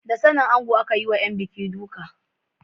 Da sanin ango aka yi wa ‘yan buki duka.